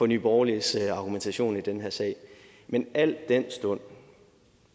nye borgerliges argumentation i den her sag men al den stund